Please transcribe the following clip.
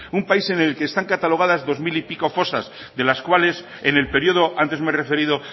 un país en el que están catalogadas dos mil y pico fosas de las cuales en el periodo antes me he referido